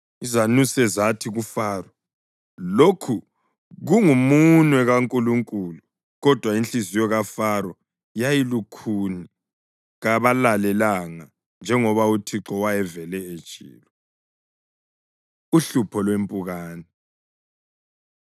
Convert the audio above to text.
izanuse zathi kuFaro, “Lokhu kungumunwe kaNkulunkulu.” Kodwa inhliziyo kaFaro yayilukhuni, kabalalelanga njengoba uThixo wayevele etshilo. Uhlupho Lwempukane